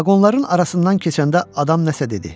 Vaqonların arasından keçəndə adam nəsə dedi.